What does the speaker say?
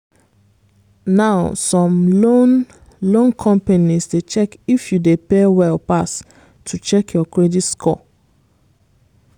now some loan loan companies dey check if you dey pay well pass to check your credit score.